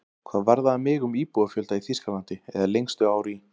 Hvað varðaði mig um íbúafjölda í Þýskalandi, eða lengstu ár í